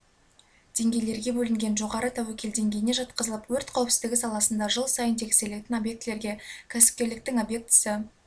деңгейлерге бөлінген жоғары тәуекел деңгейіне жатқызылып өрт қауіпсізідігі саласында жыл сайын тексерілетін объектілерге кәсіпкерліктің объектісі